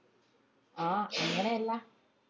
ആഹ് അങ്ങനെ അല്ലാ